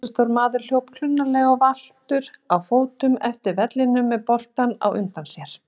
Risastór maður hljóp klunnalega og valtur á fótum eftir vellinum með boltann á undan sér.